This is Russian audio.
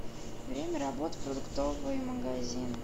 время работы продуктовый магазин